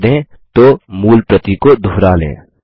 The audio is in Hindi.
जब उत्तर दें तो मूल प्रति को दुहरा लें